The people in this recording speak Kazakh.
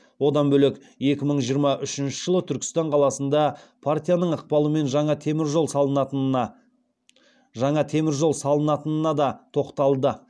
одан бөлек екі мың жиырма үшінші жылы түркістан қаласында партияның ықпалымен жаңа темір жол салынатынына да тоқталды